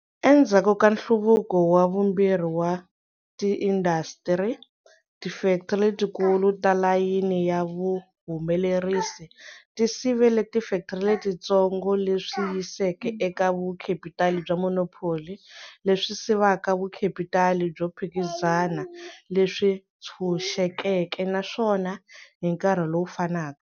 Endzhaku ka nhluvuko wa vumbirhi wa tiindasitiri, tifektri letikulu ta layini ya vuhumelerisi ti sivele tifektri letitsongo, leswi yiseke eka vukhepitali bya monopoly lebyi sivaka vukhepitali byo phikizana leswi ntshunxekeke, naswona hi nkarhi lowu fanaka.